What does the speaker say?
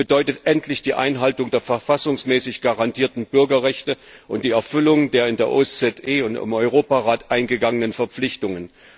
Das bedeutet endlich die Einhaltung der verfassungsmäßig garantierten Bürgerrechte und die Erfüllung der in der OSZE und im Europarat eingegangenen Verpflichtungen.